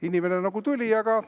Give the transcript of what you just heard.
Inimene nagu tuli, aga ...